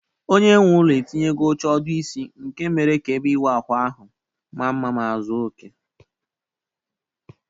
Onyenweụlọ etinyego oche ọdụ isi nke mere ka ebe ịwụ ahụ ahụ maa mma ma zuo okè.